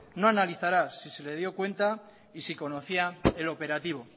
no analizará si se le dio cuenta y si conocía el operativo